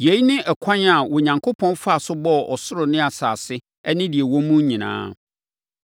Yei ne ɛkwan a Onyankopɔn faa so bɔɔ ɔsoro ne asase ne deɛ ɛwɔ mu nyinaa.